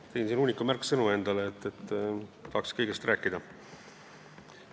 Panin endale siia hunniku märksõnu, tahaks kõigest rääkida.